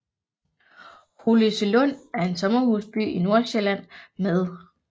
Holløselund er en sommerhusby i Nordsjælland med